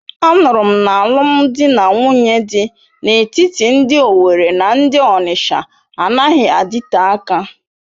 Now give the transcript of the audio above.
Anuru m na alụm di na nwunye dị n'etiti ndị Owerri na ndị Onitsha anaghị adịte aka.